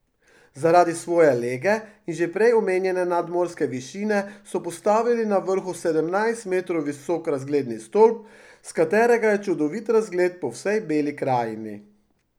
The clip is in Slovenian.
Zaradi svoje lege in že prej omenjene nadmorske višine so postavili na vrhu sedemnajst metrov visok razgledni stolp, s katerega je čudovit razgled po vsej Beli krajini.